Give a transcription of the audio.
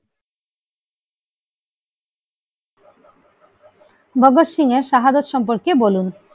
ভগৎ সিং এর শাহাদাত সম্পর্কে বলুন।